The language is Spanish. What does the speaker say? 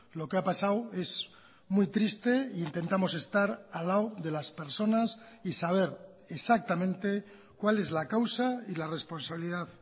lo que ha pasado es muy triste e intentamos estar al lado de las personas y saber exactamente cual es la causa y la responsabilidad